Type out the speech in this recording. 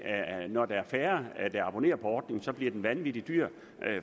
når der er færre der abonnerer på ordningen så bliver den vanvittig dyr